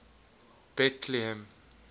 betlehem